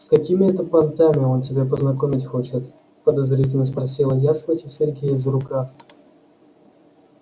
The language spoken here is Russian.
с какими это понтами он тебя познакомить хочет подозрительно спросила я схватив сергея за рукав